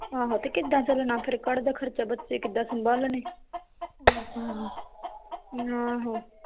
ਆਹੋ ਤੇ ਕਿਦਾਂ ਚਲਣਾ ਫਿਰ ਘਰਦਾ ਖਰਚਾ ਬੱਚੇ ਕਿਦਾਂ ਸਭਾਲਣੇ